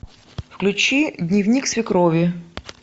включи дневник свекрови